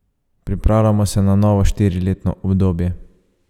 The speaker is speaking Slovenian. Pripravljamo se na novo štiriletno obdobje.